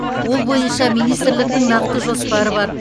ол бойынша министрліктің нақты жоспары бар